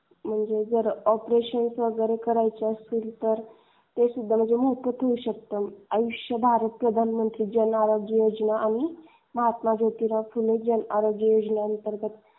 म्हणजे जर ऑपरेशन वगैरे करायचं असेल ते सुद्धा इथे मोफत होऊ शकत. आयुष्य भारत प्रधानमंत्री जन आवाज योजना आणि महात्मा ज्योतिबा फुले जन आरोग्य योजना अंतर्गत.